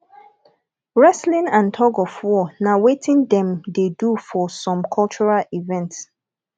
wrestling and tuofwar na wetin dem de do for spome cultural events